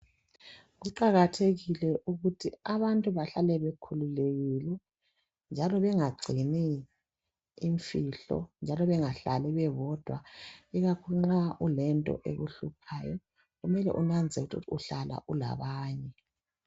Kuqakathekile ukuthi abantu bahlale bekhululekile njalo bengagcini imfihlo njalo bengahlali bebodwa ikakhulu nxa ulento ekuhluphayo kumele unanzelele ukuthi uhlala ulabanye.